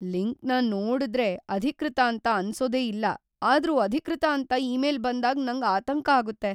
ಲಿಂಕ್ನ ನೋಡುದ್ರೆ ಅಧಿಕೃತ ಅಂತ ಅನ್ಸೋದೇ ಇಲ್ಲ ಆದ್ರೂ ಅಧಿಕೃತ ಅಂತ ಇಮೇಲ್ ಬಂದಾಗ್ ನಂಗ್ ಆತಂಕ ಆಗುತ್ತೆ.